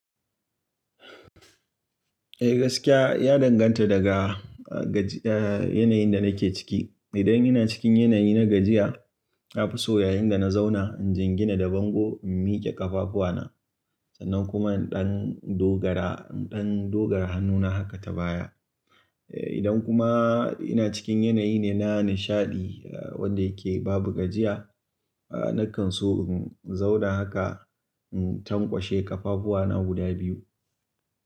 Eh gaskiya ya danganta daga, ga, yanayin da nake ciki. Idan ina cikin yanayi na gajiya, nafiso yayinda na zauna in jingina da bango in mike ƙafafuwa na. Sannan kuma in ɗan dogara, ɗan dogara hannu na haka ta baya. Idan kuma ina cikin yanayi ne na nishaɗi wanda yake babu gajiya, na kan so in zauna haka in tankwashe ƙafafuwa na guda biyu.